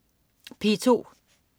P2: